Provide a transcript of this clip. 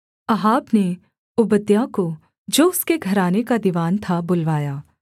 Ahab ने Obadiah को जो उसके घराने का दीवान था बुलवाया